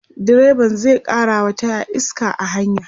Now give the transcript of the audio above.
direban zai karawa taya iska a hanya